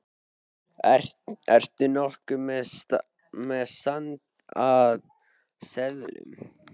Ertu nokkuð með sand af seðlum.